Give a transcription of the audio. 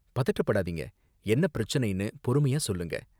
பதட்டப்படாதீங்க, என்ன பிரச்சனைனு பொறுமையா சொல்லுங்க.